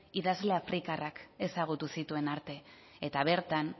idazle afrikarrak ezagutu zituen arte eta bertan